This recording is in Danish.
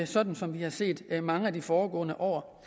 sådan som vi har set det i mange af de foregående år